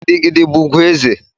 Gigi gidi bụ ugwu eze.